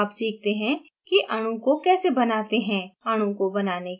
अब सीखते हैं कि अणु को कैसे बनाते हैं